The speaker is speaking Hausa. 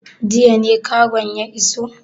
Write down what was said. Jiya ne kagon ya iso?